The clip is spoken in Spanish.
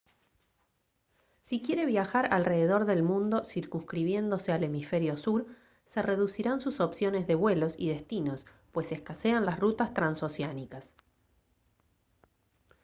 si quiere viajar alrededor del mundo circunscribiéndose al hemisferio sur se reducirán sus opciones de vuelos y destinos pues escasean las rutas transoceánicas